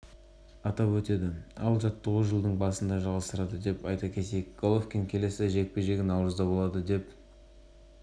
боксшының жаттықтырушысы абел санчестің айтуынша геннадий жыл соңына дейін уақытша демалысқа шықты алдағы мерекелерді отбасымен бірге